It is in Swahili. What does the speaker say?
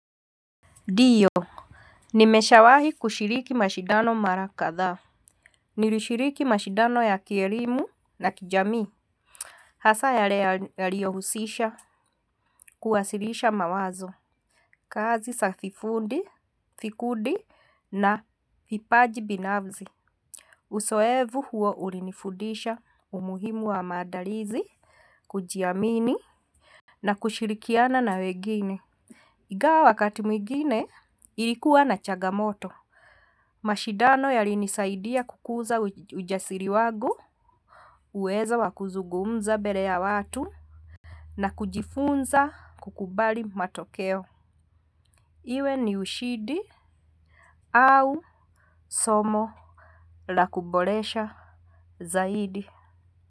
Ndio. Nimeshawahi kushiriki mashidano mara kadhaa. Nilishiriki mashidano ya kielimu na kijamii. Hasa yale yaliyohusisha kuwasirisha mawazo kazi za fifundi vikundi na vipaji binafsi. Uzoevu huwa ulinifundisha umuhimu wa maadalizi kujiamini na kushirikiana na wengini. Ingawa wakati mwingine ilikuwa na chagamoto mashidano yalinisaidia kukuza ujasiri wangu. Uwezo wa kuzungumza mbele ya watu na kujifunza kukubali matokeo. Iwe ni ushindi au somo lakuboresha zaidi.